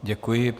Děkuji.